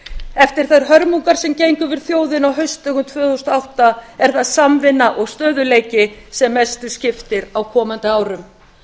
eftir þær hörmungar sem gengu yfir þjóðina á haustdögum tvö þúsund og átta er það samvinna og stöðugleiki sem mestu skiptir á komandi árum